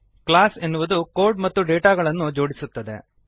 class ಎನ್ನುವುದು code ಮತ್ತು ಡೇಟಾಗಳನ್ನು ಜೋಡಿಸುತ್ತದೆ